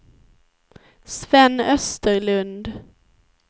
Sven Österlund